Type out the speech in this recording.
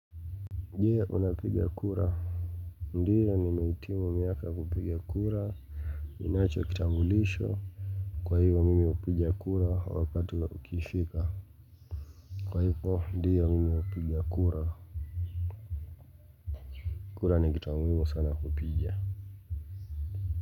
Je, unapigia kura ndiyo nimehitimu miaka ya kupiga kura nacho kitambulisho kwa hivyo mimi hupigia kura wakati ukifika kwa hivyo ndiyo mimi hupigia kura kura ni kitu ya muhimu sana kupiga.